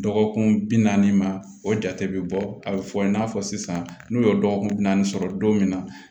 Dɔgɔkun bi naani ma o jate bɛ bɔ a bɛ fɔ i n'a fɔ sisan n'u ye dɔgɔkun naani sɔrɔ don min na